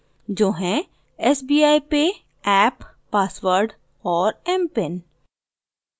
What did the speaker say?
जो हैं sbi pay app password और mpin